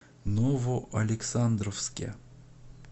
новоалександровске